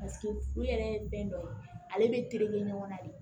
yɛrɛ fɛn dɔ ye ale bɛ tereke ɲɔgɔn na de